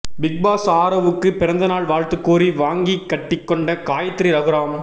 Bigg Boss ஆரவ்வுக்கு பிறந்தநாள் வாழ்த்து கூறி வாங்கி கட்டி கொண்ட காயத்ரி ரகுராம்